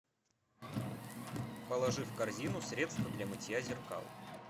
положи в корзину средство для мытья зеркал